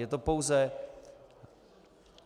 Je to pouze